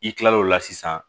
I kilal'o la sisan